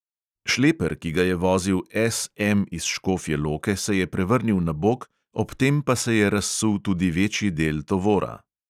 Šleper, ki ga je vozil S M iz škofje loke, se je prevrnil na bok, ob tem pa se je razsul tudi večji del tovora.